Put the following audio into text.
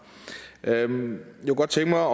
jeg kunne godt tænke mig